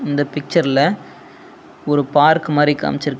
இந்த பிச்சர்ல ஒரு பார்க் மாரி காம்ச்சி--